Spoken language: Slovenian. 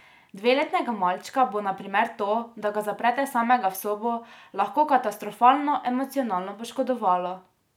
Dveletnega malčka bo, na primer, to, da ga zaprete samega v sobo, lahko katastrofalno emocionalno poškodovalo.